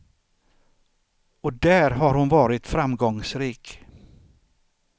Och där har hon varit framgångsrik.